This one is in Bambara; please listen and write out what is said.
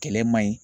Kɛlɛ man ɲi